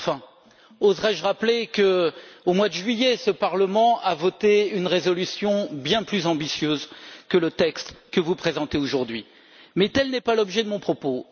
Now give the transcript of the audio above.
Mais enfin, oserais je rappeler qu'au mois de juillet, ce Parlement a voté une résolution bien plus ambitieuse que le texte que vous présentez aujourd'hui mais tel n'est pas l'objet de mon propos.